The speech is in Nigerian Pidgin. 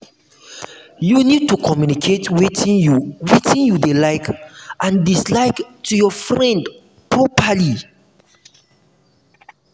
you need to communicate wetin you wetin you dey like and dislike to your friend properly